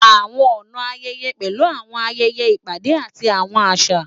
Àwọn ọ̀nà ayẹyẹ pẹ̀lú àwọn ayẹyẹ, ìpàdé, àti àwọn àṣà.